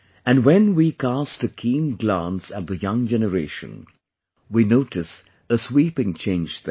And when we cast a keen glance at the young generation, we notice a sweeping change there